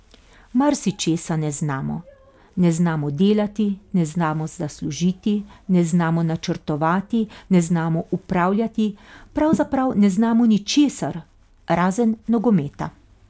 Marsičesa ne znamo, ne znamo delati, ne znamo zaslužiti, ne znamo načrtovati, ne znamo upravljati, pravzaprav ne znamo ničesar, razen nogometa.